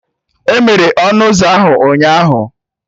Emere ọnụ ụzọ ahụ ụnyaahụ